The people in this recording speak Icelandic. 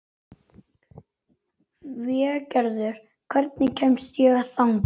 Végerður, hvernig kemst ég þangað?